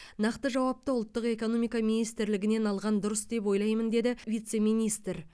нақты жауапты ұлттық экономика министрлігінен алған дұрыс деп ойлаймын деді вице министр